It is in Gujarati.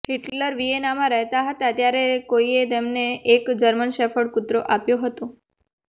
હિટલર વિયેનામાં રહેતા હતા ત્યારે કોઈએ તેમને એક જર્મન શેફર્ડ કૂતરો આપ્યો હતો